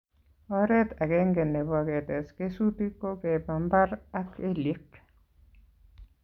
Oret agenge nebo ketes kesutik ko keba mbar ak kelyek